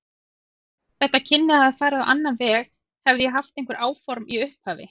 Þetta kynni að hafa farið á annan veg, hefði ég haft einhver áform í upphafi.